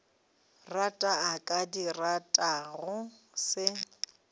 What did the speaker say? rata a ka dirago se